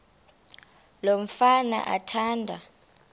lo mfana athanda